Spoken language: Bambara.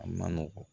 A man nɔgɔn